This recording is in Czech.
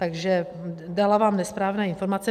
Takže dala vám nesprávné informace.